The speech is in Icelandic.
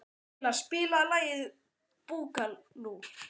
Leila, spilaðu lagið „Búkalú“.